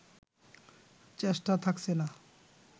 চেষ্টা থাকছে না